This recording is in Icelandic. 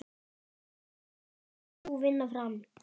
Hvernig fer sú vinna fram?